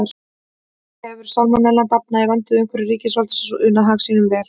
Þar hefur salmonellan dafnað í vernduðu umhverfi ríkisvaldsins og unað hag sínum vel.